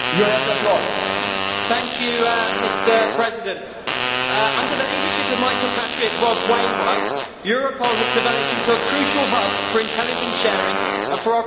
Mr President, under the leadership of my compatriot Rob Wainwright, Europol has developed into a crucial hub for intelligence sharing and for operational support between national forces.